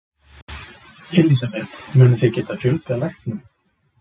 Elísabet: Munið þið geta fjölgað læknum?